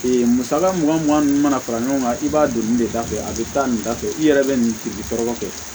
musaka mugan mugan ninnu mana fara ɲɔgɔn kan i b'a don nin de da fɛ a bɛ taa nin da fɛ i yɛrɛ bɛ nin tigi tɔɔrɔ kɛ